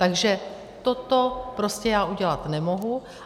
Takže toto prostě já udělat nemohu.